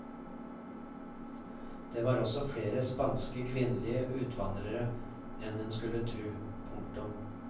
Det var også flere spanske kvinnelige utvandrere enn en skulle tro. punktum